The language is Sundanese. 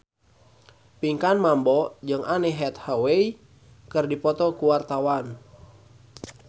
Pinkan Mambo jeung Anne Hathaway keur dipoto ku wartawan